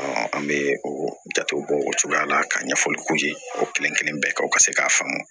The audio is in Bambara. an bɛ o jatew bɔ o cogoya la ka ɲɛfɔli k'u ye o kelen kelen bɛɛ kan u ka se k'a faamu